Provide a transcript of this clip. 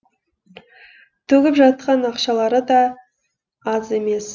төгіп жатқан ақшалары да аз емес